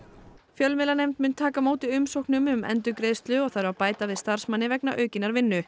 fjölmiðlanefnd mun taka á móti umsóknum um endurgreiðslu og þarf að bæta við starfsmanni vegna aukinnar vinnu